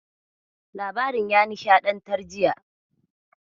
Labarin ya nishaɗantar jiya.